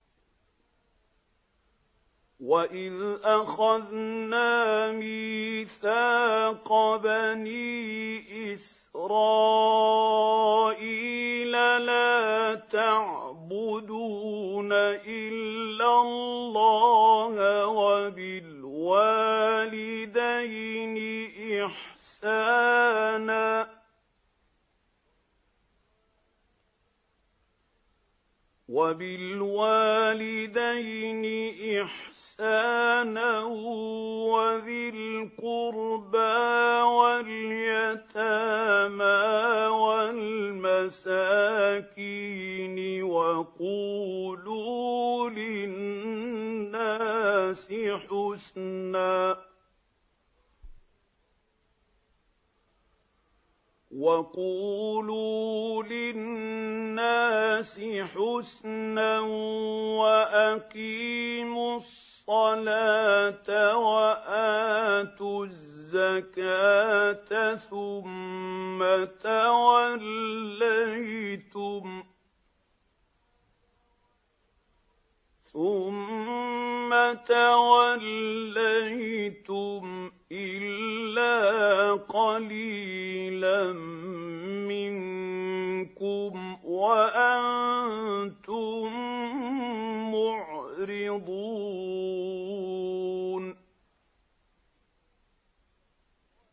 وَإِذْ أَخَذْنَا مِيثَاقَ بَنِي إِسْرَائِيلَ لَا تَعْبُدُونَ إِلَّا اللَّهَ وَبِالْوَالِدَيْنِ إِحْسَانًا وَذِي الْقُرْبَىٰ وَالْيَتَامَىٰ وَالْمَسَاكِينِ وَقُولُوا لِلنَّاسِ حُسْنًا وَأَقِيمُوا الصَّلَاةَ وَآتُوا الزَّكَاةَ ثُمَّ تَوَلَّيْتُمْ إِلَّا قَلِيلًا مِّنكُمْ وَأَنتُم مُّعْرِضُونَ